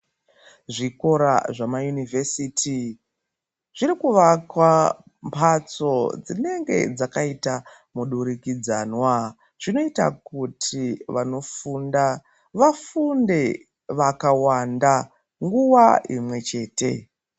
Zvikora zvemaunivhesiti zviri kuakwa mhatso dzinenge dzakaita mudurikidzanwa zvinoita kuti vanofunda vafunde vakawanda nguva imwechete.